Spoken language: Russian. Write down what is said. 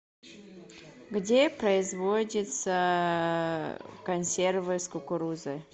где производятся консервы с кукурузой